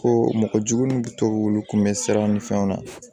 Ko mɔgɔ jugu kun bɛ sira ni fɛnw na